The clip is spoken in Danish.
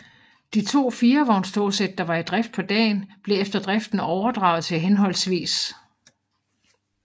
De to firevognstogsæt der var i drift på dagen blev efter driften overdraget til hhv